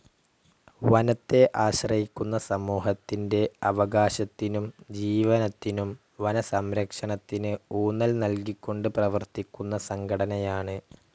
വനത്തെ ആശ്രയിക്കുന്ന സമൂഹത്തിന്റെ അവകാശത്തിനും ജീവനത്തിനും വനസംരക്ഷണത്തിന് ഊന്നൽ നൽകിക്കൊണ്ട് പ്രവർത്തിക്കുന്ന സംഘടനയാണ്.